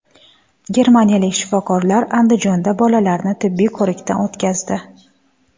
Germaniyalik shifokorlar Andijonda bolalarni tibbiy ko‘rikdan o‘tkazdi.